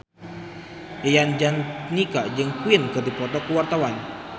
Yayan Jatnika jeung Queen keur dipoto ku wartawan